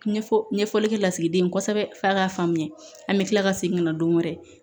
Ɲɛfɔ ɲɛfɔlikɛ lasigiden kosɛbɛ f'a k'a faamuya an bɛ kila ka segin ka na don wɛrɛ